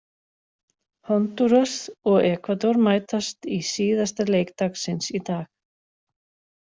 Hondúras og Ekvador mætast í síðasta leik dagsins í dag.